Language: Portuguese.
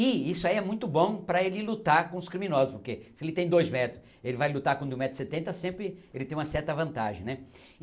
E isso aí é muito bom para ele lutar com os criminosos, porque se ele tem dois metros, ele vai lutar com um metro e setenta sempre ele tem uma certa vantagem né.